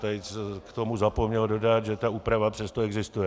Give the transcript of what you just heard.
Tejc k tomu zapomněl dodat, že ta úprava přesto existuje.